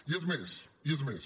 i és més i és més